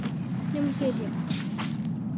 Nema síður sé.